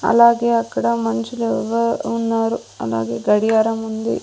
అలాగే అక్కడ మంచులో ఎవరో ఉన్నారు అలాగే గడియారం ఉంది.